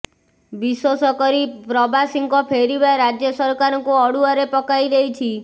ବିଶୋଷକରି ପ୍ରବାସୀଙ୍କ ଫେରିବା ରାଜ୍ୟ ସରକାରଙ୍କୁ ଅଡ଼ୁଆରେ ପକାଇ ଦେଇଛି